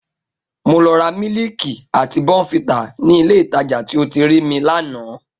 Mo lọ ra mílíìkì àti bournvita ní Ilé-ìtajà tí o ti rí mi lánàá